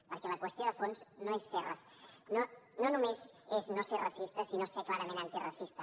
perquè la qüestió de fons no només és no ser racista sinó ser clarament antiracista